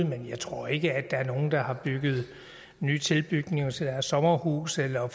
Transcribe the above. men jeg tror ikke at de der har bygget nye tilbygninger til deres sommerhus eller har